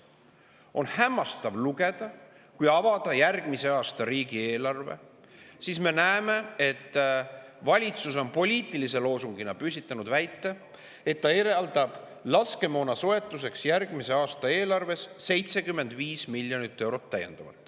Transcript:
On hämmastav lugeda – kui avada järgmise aasta riigieelarve, siis me näeme seda –, et valitsus on poliitilise loosungina püstitanud väite, et ta eraldab laskemoona soetamiseks järgmise aasta eelarves täiendavalt 75 miljonit eurot.